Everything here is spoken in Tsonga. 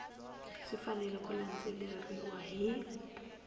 swi fanele ku landzeleriwa hi